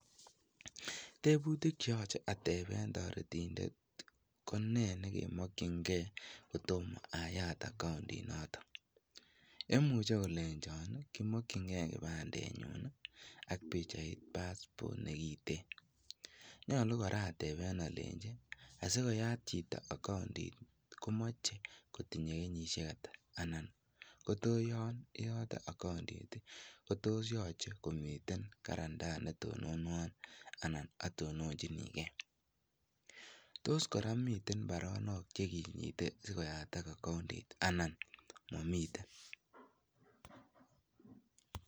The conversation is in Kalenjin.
Tebutik cheyoche ateben toretindet konee nekemokyinge kotom ayaat account into. Imuche kolenchon kimokyinge kipandenyun ak pichait passport nekiten. Nyolu kora ateben alenyi asikoyat chito akoundit komoche kotinye kenyisiek ata anan tos yoche komiten guarantor netononwon anan atononchinike. Tos kora miten baronok chekinyite sikoyaatak accoundit I anan momiten.